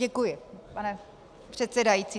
Děkuji, pane předsedající.